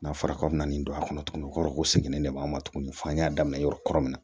N'a fɔra k'aw bɛ na nin don a kɔnɔ o kɔrɔ ko segin de b'a la tugun f'an y'a daminɛ yɔrɔ kɔrɔ